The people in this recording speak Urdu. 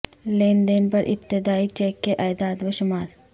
لین دین پر ابتدائی چیک کے اعداد و شمار